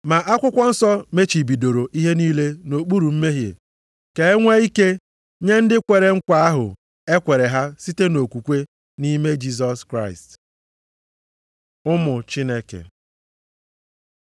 Ma akwụkwọ nsọ mechibidoro ihe niile nʼokpuru mmehie ka e nwee ike nye ndị kwere ekwe nkwa ahụ e kwere ha site nʼokwukwe nʼime Jisọs Kraịst. Ụmụ Chineke